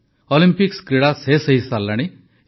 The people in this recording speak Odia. ଅଲମ୍ପିକ କ୍ରୀଡ଼ା ଶେଷ ହୋଇସାରିଲାଣି